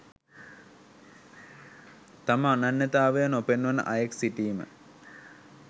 තම අනන්‍යතාවය නොපෙන්වන අයෙක් සිටීම